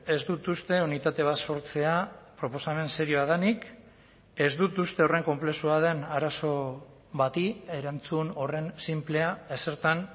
ez dut uste unitate bat sortzea proposamen serioa denik ez dut uste horren konplexua den arazo bati erantzun horren sinplea ezertan